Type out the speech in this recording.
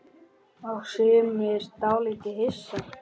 Og sumir dálítið hissa?